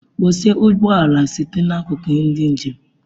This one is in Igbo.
Kpọchie ụgbọ ala site n'akụkụ ndị njem!